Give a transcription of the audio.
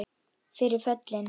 Fyrir föllin